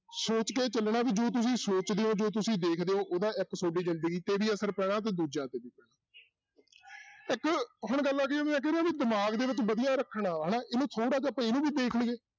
ਸੋਚ ਕੇ ਚੱਲਣਾ ਵੀ ਜੋ ਤੁਸੀਂ ਸੋਚਦੇ ਹੋ ਜੋ ਤੁਸੀਂ ਦੇਖਦੇ ਹੋ ਉਹਦਾ ਇੱਕ ਤੁਹਾਡੀ ਜ਼ਿੰਦਗੀ ਤੇ ਵੀ ਅਸਰ ਪੈਣਾ ਤੇ ਦੂਜਿਆਂ ਤੇ ਵੀ ਪੈਣਾ ਇੱਕ ਹੁਣ ਗੱਲ ਆ ਗਈ ਦਿਮਾਗ ਦੇ ਵਿੱਚ ਵਧੀਆ ਰੱਖਣਾ ਹਨਾ, ਇਹਨੂੰ ਥੋੜ੍ਹਾ ਜਿਹਾ ਆਪਾਂ ਇਹਨੂੰ ਵੀ ਦੇਖ ਲਈਏ